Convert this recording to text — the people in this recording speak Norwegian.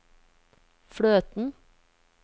fløten